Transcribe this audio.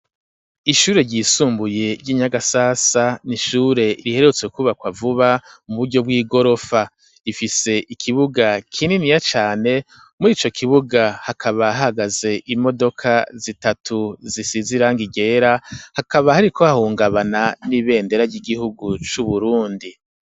Ishure ryisumbuye ry'inyagasasa n'ishure riherutse kubakwa vuba mu buryo bw'igorofa, ifise ikibuga kininiya cane muri ico kibuga hakaba hagaze imodoka zitatu zisize irangi ryera hakaba hariko hahungabana n'ibendera ry'igihugu c'uburundi.